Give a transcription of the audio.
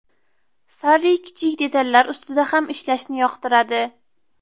Sarri kichik detallar ustida ham ishlashni yoqtiradi.